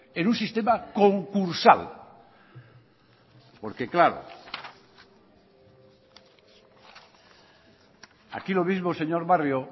en un sistema concursal porque claro aquí lo mismo señor barrio